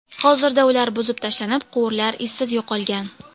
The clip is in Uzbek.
Hozirda ular buzib tashlanib, quvurlar izsiz yo‘qolgan.